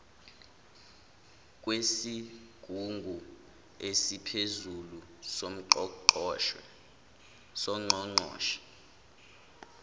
kwesigungu esiphezulu songqongqoshe